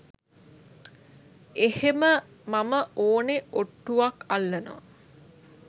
එහෙම මම ඕනෙ ඔට්ටුවක් අල්ලනවා.